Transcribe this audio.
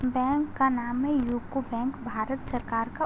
Bank का नाम है यूको बैंक । भारत सरकार का --